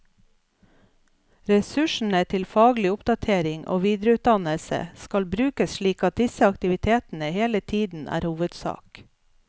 Ressursene til faglig oppdatering og videreutdannelse skal brukes slik at disse aktivitetene hele tiden er hovedsak.